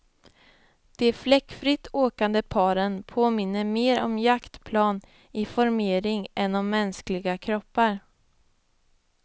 De fläckfritt åkande paren påminner mera om jaktplan i formering än om mänskliga kroppar.